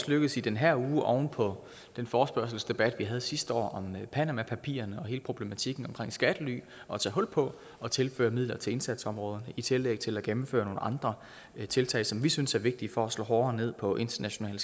lykkedes i den her uge oven på den forespørgselsdebat vi havde sidste år om panamapapirerne og hele problematikken omkring skattely at tage hul på at tilføre midler til indsatsområder i tillæg til at gennemføre nogle andre tiltag som vi synes er vigtige for at slå hårdere ned på international